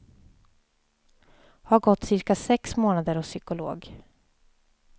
Har gått cirka sex månader hos psykolog.